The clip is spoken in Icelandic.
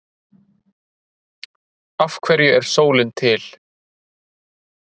af hverju er sólin til